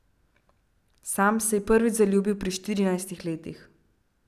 Sam se je prvič zaljubil pri štirinajstih letih.